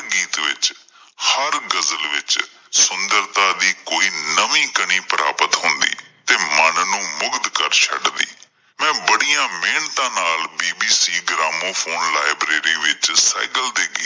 ਹਰ ਗਜ਼ਲ ਵਿੱਚ ਸੁੰਦਰਤਾ ਦੀ ਕੋਈ ਨਵੀਂ ਕਣੀ ਪ੍ਰਾਪਤ ਹੁੰਦੀ ਤੇ ਮਨ ਨੂੰ ਮੁਗਧ ਕਰ ਛੱਡਦੀ ਮੈਂ ਬੜੀਆਂ ਮਿਹਨਤਾਂ ਨਾਲ BBC gramophone library ਸਹਿਗਲ ਦੇ ਗੀਤ